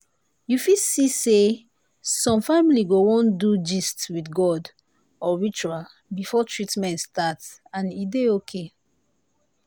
you fit see say some family go wan do gist with god or ritual before treatment start and e dey okay.